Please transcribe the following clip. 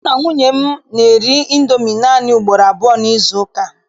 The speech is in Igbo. Mụ na nwunye m na-eri Indomi naanị ugboro abụọ n'izuụka.